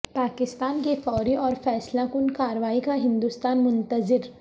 پاکستان کی فوری اور فیصلہ کن کارروائی کا ہندوستان منتظر